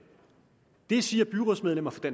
det siger byrådsmedlemmer